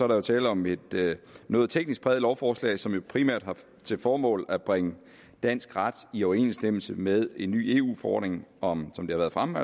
der tale om et noget teknisk præget lovforslag som jo primært har til formål at bringe dansk ret i overensstemmelse med en ny eu forordning om som det har været fremme